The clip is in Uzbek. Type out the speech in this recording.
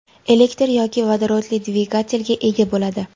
elektr yoki vodorodli dvigatelga ega bo‘ladi.